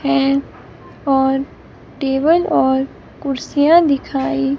fan और table और कुर्सियां दिखाई--